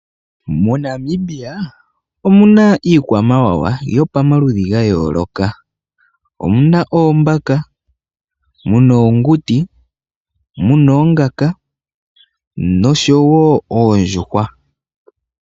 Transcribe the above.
MoNamibia omu na iikwamawawa yopamaludhi ga yooloka. Omu na oombaka, mu na oonguti, mu na oongaka noshowo oondjuhwa.